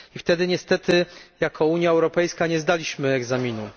Wtedy niestety jako Unia Europejska nie zdaliśmy egzaminu.